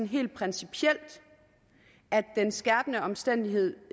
helt principielt at den skærpende omstændighed